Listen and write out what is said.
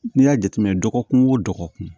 N'i y'a jateminɛ dɔgɔkun o dɔgɔkun